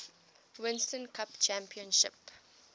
winston cup championship